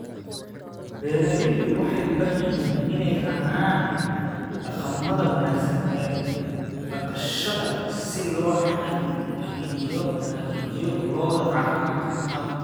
Beeraleydu waxay u baahan yihiin inay raacaan dhaqamada wanaagsan ee dhaqashada si loo xaqiijiyo lo'da caafimaadka qabta.